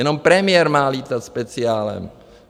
Jenom premiér má lítat speciálem.